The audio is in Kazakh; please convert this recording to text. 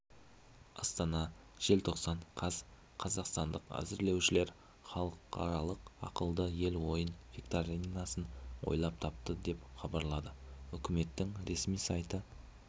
астана желтоқсан қаз қазақстандық әзірлеушілер халықаралық ақылды ел ойын-викторинасын ойлап тапты деп хабарлады үкіметінің ресми сайты